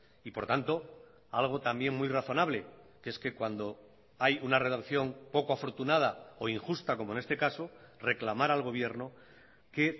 y por tanto algo también muy razonable que es que cuando hay una redacción poco afortunada o injusta como en este caso reclamar al gobierno que